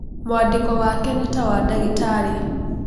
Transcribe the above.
Mwandĩko wake nĩ ta wa ndagitarĩ.